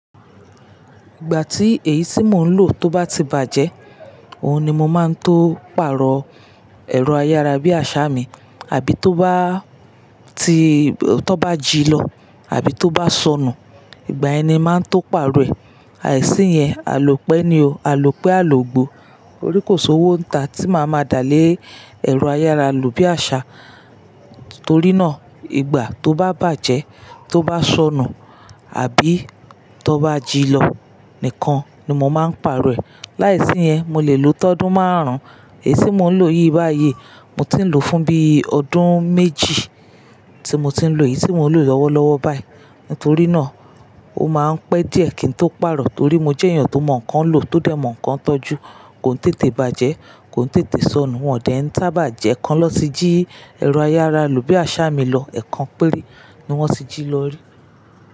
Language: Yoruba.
Ìgbà tí èyí tí mò ń lò tó bá ti bàjẹ́, òhun ni mo máa ń tó pàrọ̀ ẹ̀rọ ayára bí àṣá mi, àbí tó bá ti-- tó bá jí lọ, àbí tó bá sọnù, ìgbà yẹn ni màá n tó pàrọ̀ ẹ̀. Àìsí yẹn, àlo pẹ́ ni o. Àlo pẹ́, àlo gbó. Torí kò sowó ń ta tí màá máa dàálè ẹ̀rọ ayára lò bí àṣá. Torí náà, ìgbà tó bá bàjẹ́, tó bá sọnù, àbí to bá jí lọ nìkan ni mo máa ń pàrọ̀ ẹ̀. Láìsí yẹn, mo lè lò tọdún márùn-ún. Èyí tí mò ń lò yìí báyìí, mo ti ń lò fún bí ọdún méjì tí mo ti ń lò èyí tí mò ń lò lọ́wọ́lọ́wọ́ báyìí. Nítorí náà, ó máa ń pẹ́ díẹ̀ kí n tó pàrọ̀ torí mo jẹ́ èèyàn tó mọ̀ nǹkan lò tó dẹ̀ mọ̀ nǹkan tọ́jú. Kò n tètè bàjẹ́, kò n tètè sọnù, wọ́n ò dẹ̀ ń sábà jẹ́ ẹ́ kan lọ tí jí ẹ̀rọ ayára lò bí àṣá mi lọ. Ẹ̀ẹ̀kan péré ni wọ́n ti jí lọ rí.